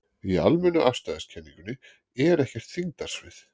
Í almennu afstæðiskenningunni er ekkert þyngdarsvið.